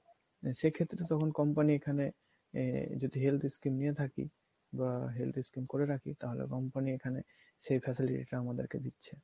সেক্ষেত্রে তখন company এখানে আহ যদি health scheme নিয়ে থাকি বা health scheme করে থাকি তাহলে company এখানে সেই facility টা আমাকে দিচ্ছে